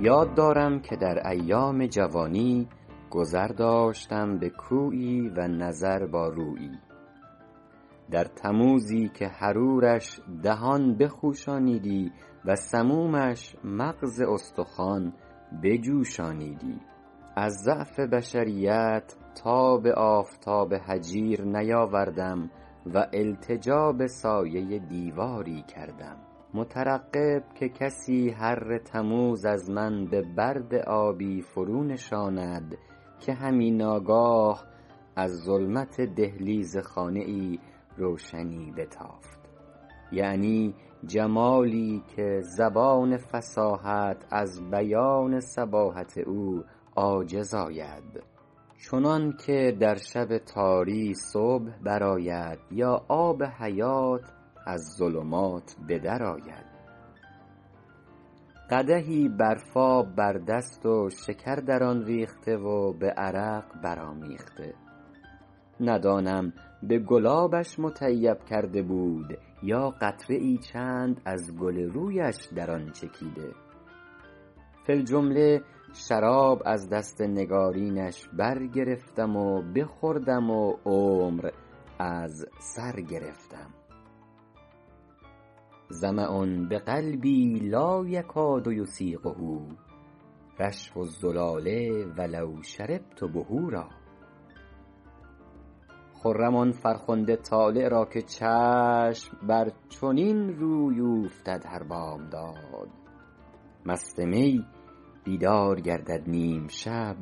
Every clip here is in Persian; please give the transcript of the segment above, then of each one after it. یاد دارم که در ایام جوانی گذر داشتم به کویی و نظر با رویی در تموزی که حرورش دهان بخوشانیدی و سمومش مغز استخوان بجوشانیدی از ضعف بشریت تاب آفتاب هجیر نیاوردم و التجا به سایه دیواری کردم مترقب که کسی حر تموز از من به برد آبی فرو نشاند که همی ناگاه از ظلمت دهلیز خانه ای روشنی بتافت یعنی جمالی که زبان فصاحت از بیان صباحت او عاجز آید چنان که در شب تاری صبح بر آید یا آب حیات از ظلمات به در آید قدحی برفاب بر دست و شکر در آن ریخته و به عرق برآمیخته ندانم به گلابش مطیب کرده بود یا قطره ای چند از گل رویش در آن چکیده فی الجمله شراب از دست نگارینش برگرفتم و بخوردم و عمر از سر گرفتم ظمأ بقلبی لا یکاد یسیغه رشف الزلال ولو شربت بحورا خرم آن فرخنده طالع را که چشم بر چنین روی اوفتد هر بامداد مست می بیدار گردد نیم شب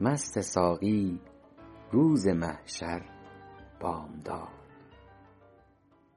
مست ساقی روز محشر بامداد